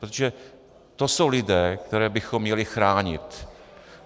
Protože to jsou lidé, které bychom měli chránit.